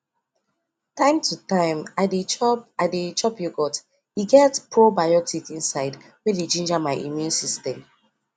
time to time i dey chop i dey chop yogurt e get probiotic inside wey dey ginger my immune system